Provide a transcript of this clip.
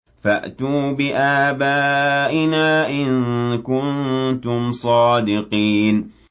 فَأْتُوا بِآبَائِنَا إِن كُنتُمْ صَادِقِينَ